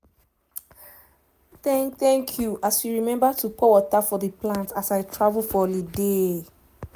thank thank you as you remember to pour water for the plant as i travel for holiday.